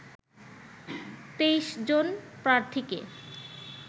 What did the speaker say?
২৩ জন প্রার্থীকে